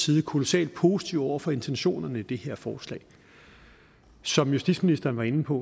vi kolossalt positive over for intentionerne i det her forslag som justitsministeren var inde på